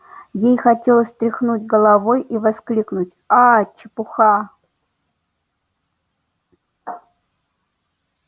ей хотелось тряхнуть головой и воскликнуть аа чепуха